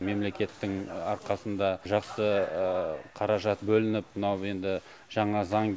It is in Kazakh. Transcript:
мемлекеттің арқасында жақсы қаражат бөлініп мынау енді жаңа заң